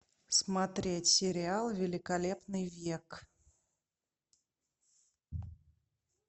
смотреть сериал великолепный век